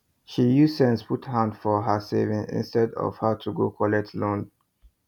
she use sense put hand for her savings instead of her to go collect loan